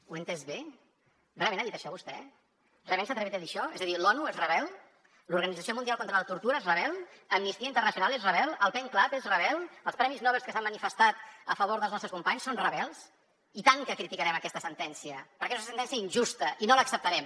ho he entès bé realment ha dit això vostè realment s’ha atrevit a dir això és a dir l’onu és rebel l’organització mundial contra la tortura és rebel amnistia internacional és rebel el pen club és rebel els premis nobel que s’han manifestat a favor dels nostres companys són rebels i tant que criticarem aquesta sentència perquè és una sentència injusta i no l’acceptarem